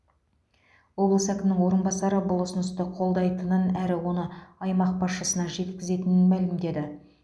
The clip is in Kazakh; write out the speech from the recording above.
облыс әкімінің орынбасары бұл ұсынысты қолдайтынын әрі оны аймақ басшысына жеткізетінін мәлімдеді